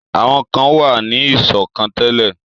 Àwọn kan wà ní ìṣọ̀kan tẹ́lẹ̀.